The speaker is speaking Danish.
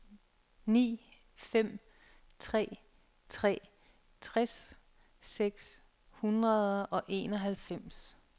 ni fem tre tre tres seks hundrede og enoghalvfems